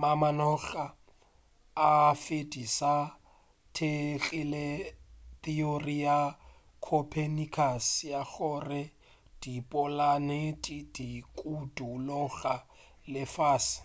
mamanoga a venus a thekgile theory ya copernicus ya gore dipolanete di dukuloga lefase